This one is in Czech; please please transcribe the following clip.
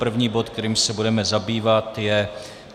První bod, kterým se budeme zabývat, je